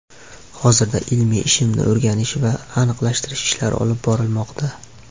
Hozirda ilmiy ishimni o‘rganish va aniqlashtirish ishlari olib borilmoqda.